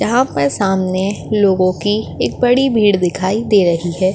यहा पर सामने लोगों की एक बड़ी भीड़ दिखाई दे रही है।